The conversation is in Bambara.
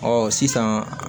Ɔ sisan